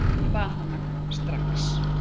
Bað hana að koma strax.